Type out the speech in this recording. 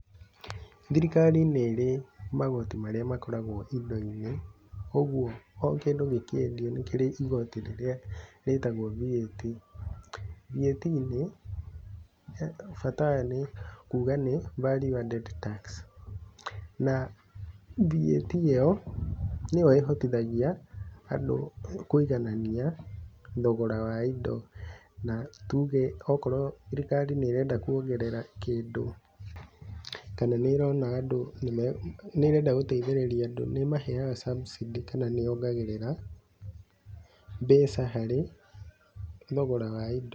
Thirikari nĩirĩ magoti marĩa makoragwo indo-inĩ koguo o kĩndũ gĩkiendio nĩkĩrĩ gĩcigo rĩrĩa gitagwo VAT. VAT githĩ, bata wayo ni kuga nĩ Value Added Tax na VAT ĩyo nĩyo ĩhotithagia andũ kũiganania thogora wa indo na tuge okorwo thirikari nĩ irenda kuongerera kĩndũ, kana nĩ ĩrenda gũteithĩrĩria andũ nĩ ĩmaheaga subsidy kana ni yongagĩrĩra mbeca harĩ thogora wa indo.